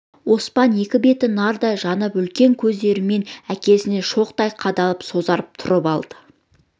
оспан екі беті нарттай жанып үлкен көздерімен әкесіне шоқтай қадалып сазарып тұрып алды